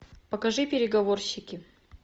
покажи переговорщики